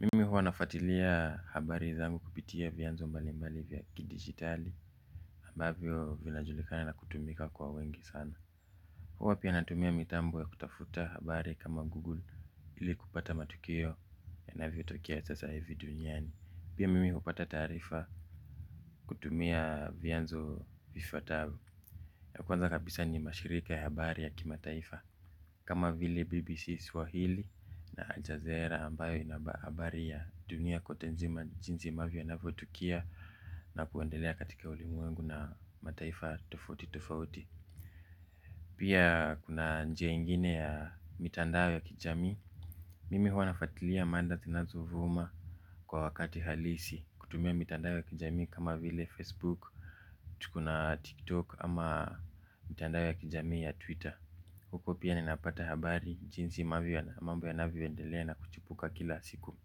Mimi huwa nafuatilia habari zangu kupitia vyanzo mbali mbali vya kidigitali ambavyo vinajulikana na kutumika kwa wengi sana. Huwa pia natumia mitambo ya kutafuta habari kama google ili kupata matukio yanavyo tokea sasa hivi duniani. Pia mimi hupata taarifa kutumia vyanzo vifuatavyo. Ya kuanza kabisa ni mashirika ya habari ya kimataifa kama vile BBC Swahili na Ajazera ambayo ina habari ya dunia kote nzima jinsi ambavyo inavyotukia na kuendelea katika ulimwengu na mataifa tofauti tofauti. Pia kuna njia ingine ya mitandao ya kijamii. Mimi huwa nafuatilia mada zinazo vuma kwa wakati halisi kutumia mitandao ya kijami kama vile Facebook, tuko na TikTok ama mitandao ya kijami ya Twitter. Huko pia ninapata habari jinsi mambo yanavyo endelea na kuchipuka kila siku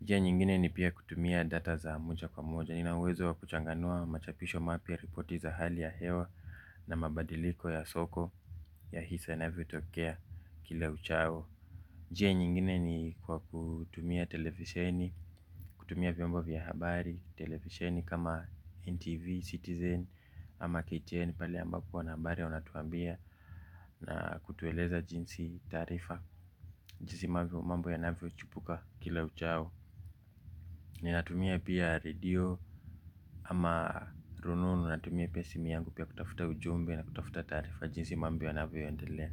njia nyingine ni pia kutumia data za moja kwa moja. Nina uwezo wa kuchanganua machapisho mapya ripoti za hali ya hewa na mabadiliko ya soko ya hisa inavyotokea kila uchao njia nyingine ni kwa kutumia televisheni, kutumia vyombo vya habari, televisheni kama NTV, Citizen ama KTN pale ambapo wana habari wanatuambia na kutueleza jinsi taarifa jinsi mambo yanavyo chipuka kila uchao. Ninatumia pia redio ama rununu natumia pia simu yangu pia kutafuta ujumbe na kutafuta taarifa jinsi mambo yanavyo endelea.